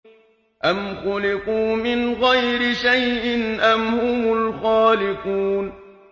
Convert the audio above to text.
أَمْ خُلِقُوا مِنْ غَيْرِ شَيْءٍ أَمْ هُمُ الْخَالِقُونَ